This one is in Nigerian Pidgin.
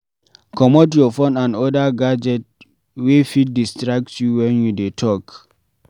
comot your phone and other gadget wey fit distract you when you dey talk